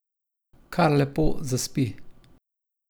Kar lepo zaspi.